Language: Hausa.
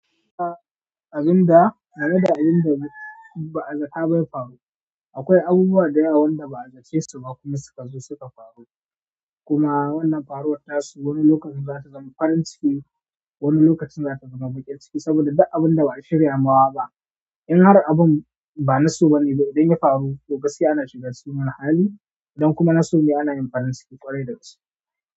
A abin da, tare da abin da ba'a zata ba ya faru. Akwai abubuwa da yawa wanda ba'a zace su ba kuma suka zo suka faru, kuma wannan faruwar tasu wani lokacin za ta zama farin ciki, wani lokacin za ta zama baƙin ciki saboda duk abin da ba a shirya mawa ba in har abun ba na so bane ba, idan ya faru, to gaskiya ana shiga cikin wani hali, idan kuma na so ne ana yin farin ciki ƙwarai da gaske.